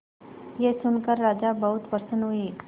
यह सुनकर राजा बहुत प्रसन्न हुए